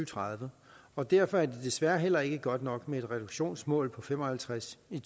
tredive og derfor er det desværre heller ikke godt nok med et reduktionsmål på fem og halvtreds i